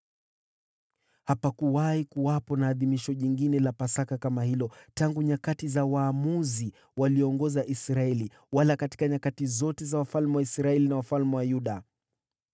Hapakuwahi kuwepo na adhimisho lingine la Pasaka kama hilo tangu nyakati za Waamuzi walioongoza Israeli, wala katika nyakati zote za wafalme wa Israeli na wafalme wa Yuda.